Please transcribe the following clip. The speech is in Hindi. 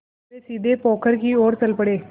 वे सीधे पोखर की ओर चल पड़े